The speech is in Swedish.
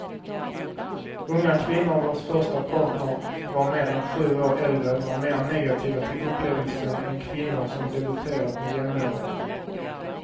Unga kvinnor vars första partner var mer än sju år äldre var mer negativa till upplevelsen än kvinnor som debuterat med jämnåriga.